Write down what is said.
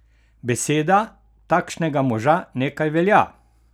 Beseda takšnega moža nekaj velja!